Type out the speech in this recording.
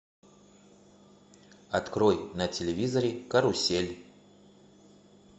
открой на телевизоре карусель